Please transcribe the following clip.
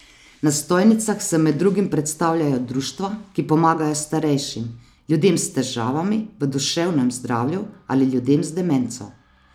Na stojnicah se med drugim predstavljajo društva, ki pomagajo starejšim, ljudem s težavami v duševnem zdravju ali ljudem z demenco.